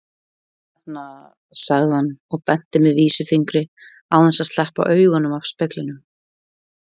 Hérna, sagði hann og benti með vísifingri án þess að sleppa augunum af speglinum.